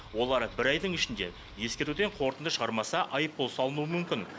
олар бір айдың ішінде ескертуден қорытынды шығармаса айыппұл салынуы мүмкін